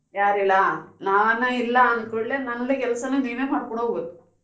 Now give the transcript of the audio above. ಯಾರ್ ಇಲ್ಲ ಹಾ ನಾನು ಇಲ್ಲ ಅಂದ್ಕೂಡ್ಲೆ ನಂದು ಕೆಲ್ಸಾನು ನೀವೇ ಮಾಡ್ಕೊಂಡ್ ಹೋಗ್ಬೇಕು.